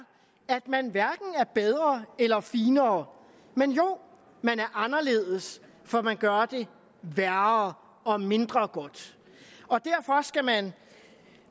at man hverken er bedre eller finere men jo man er anderledes for man gør det værre og mindre godt og derfor skal man